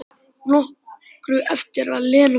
Nokkru eftir að Lena kom.